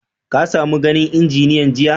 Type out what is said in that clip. Ka samo ganin injiniyan jiya?